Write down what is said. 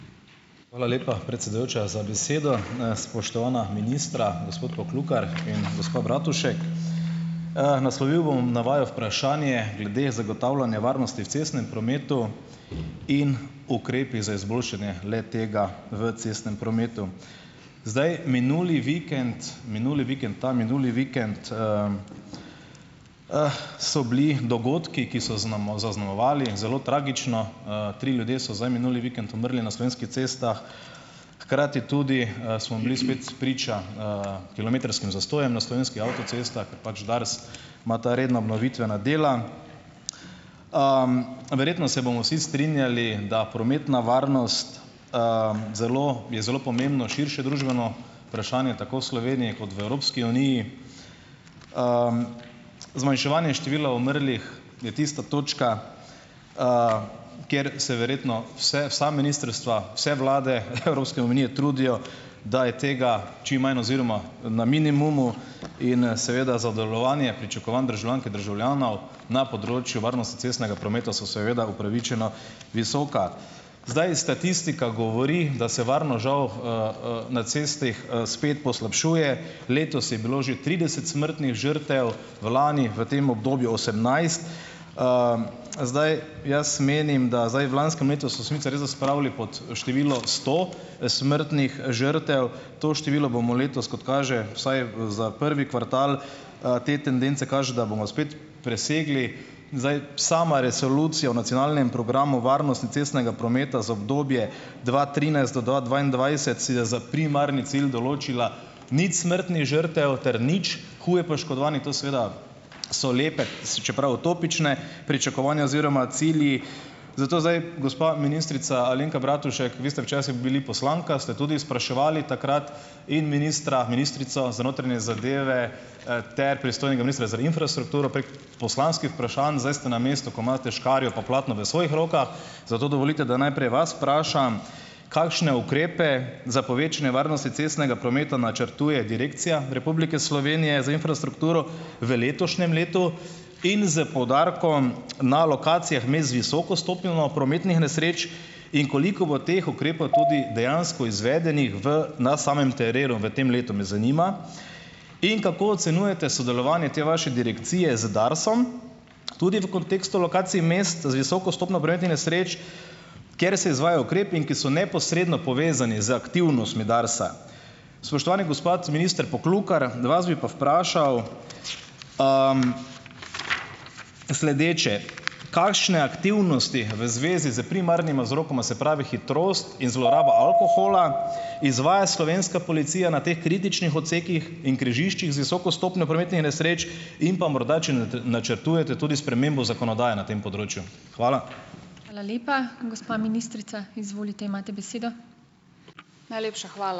Hvala lepa, predsedujoča za besedo. Spoštovana ministra, gospod Poklukar in gospa Bratušek. Naslovil bom na vaju vprašanje glede zagotavljanja varnosti v cestnem prometu in ukrepi za izboljšanje le-tega v cestnem prometu. Zdaj, minuli vikend minuli vikend, ta minuli vikend so bili dogodki, ki so zaznamovali zelo tragično, tri ljudje so zdaj minuli vikend umrli na slovenski cestah, hkrati tudi, smo bili spet priča kilometrskim zastojem na slovenskih avtocestah, ker pač DARS ima ta redna obnovitvena dela. Verjetno se bomo vsi strinjali, da prometna varnost zelo, je zelo pomembno širše družbeno vprašanje tako v Sloveniji kot v Evropski uniji. Zmanjševanje števila umrlih je tista točka, kjer se verjetno vse vsa ministrstva, vse vlade Evropske unije trudijo, da je tega čim manj oziroma na minimumu in seveda za delovanje, pričakovanja državljank in državljanov na področju varnosti cestnega prometa so upravičeno visoka. Zdaj, statistika govori, da se varnost, žal, na cestah, spet poslabšuje. Letos je bilo že trideset smrtnih žrtev, lani v tem obdobju osemnajst. Zdaj. Jaz menim da, zdaj v lanskem letu so sicer resda spravili pod število sto smrtnih žrtev, to število bomo letos, kot kaže, vsaj za prvi kvartal, te tendence kažejo, da bomo spet presegli. Zdaj, sama resolucija o nacionalnem programu varnosti cestnega prometa za obdobje dva trinajst do dva dvaindvajset si je za primerni cilj določila nič smrtnih žrtev ter nič huje poškodovanih. To seveda so lepe, čeprav utopične pričakovanja oziroma cilji. Zato zdaj gospa ministrica Alenka Bratušek, vi ste včasih bili poslanka, ste tudi spraševali takrat in ministra, ministrico za notranje zadeve, ter pristojnega ministra za infrastrukturo prek poslanskih vprašanj, zdaj ste na mestu, ko imate škarje in platno v svojih rokah, zato dovolite, da najprej vas vprašam. Kakšne ukrepe za povečanje varnosti cestnega prometa načrtuje Direkcija Republike Slovenije za infrastrukturo v letošnjem letu in s poudarkom na lokacijah me z visoko stopnjo na prometnih nesreč in koliko bo teh ukrepov tudi dejansko izvedenih v na samem terenu v tem letu, me zanima. In kako ocenjujete delovanje te vaše direkcije z DARS-om tudi v kontekstu lokacij mest z visoko stopnjo prometnih nesreč, kjer se izvajajo ukrepi, ki so neposredno povezani z aktivnostmi DARS-a. Spoštovani gospod minister Poklukar. Vas bi pa vprašal sledeče. Kakšne aktivnosti v zvezi s primarnima vzrokoma, se pravi hitrost in zloraba alkohola, izvaja Slovenska policija na teh kritičnih odsekih in križiščih z visoko stopnjo prometnih nesreč in pa morda, če načrtujete tudi spremembo zakonodaje na tem področju. Hvala.